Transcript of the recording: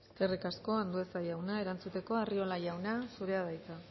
eskerrik asko andueza jauna erantzuteko arriola jauna zurea da hitza